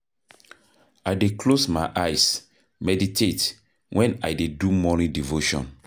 I dey close my eyes, meditate wen I dey do morning devotion.